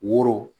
Woro